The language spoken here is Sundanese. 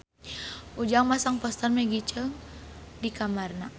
Ujang masang poster Maggie Cheung di kamarna